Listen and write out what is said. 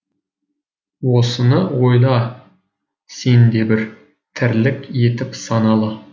осыны ойла сен де бір тірлік етіп саналы